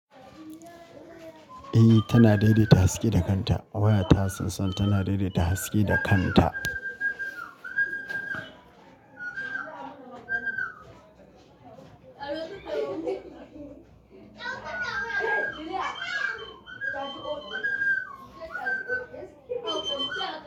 Eh tana daidaita haske da kanta. Wayata sosai tana daidaita haske da kanta.